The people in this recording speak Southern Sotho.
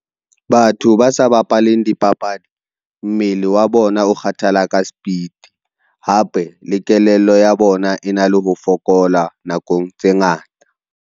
Batho ba sa bapaleng dipapadi mmele wa bona o kgathalla ka sepiti, hape le kelello ya bona e na le ho fokola nakong tse ngata.